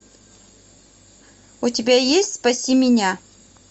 у тебя есть спаси меня